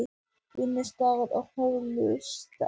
Vinnustaður og hollusta